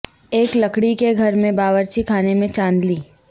ایک لکڑی کے گھر میں باورچی خانے میں چاندلی